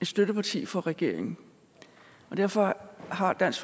støtteparti for regeringen og derfor har dansk